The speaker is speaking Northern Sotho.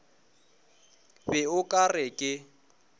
be o ka re ke